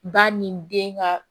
Ba ni den ka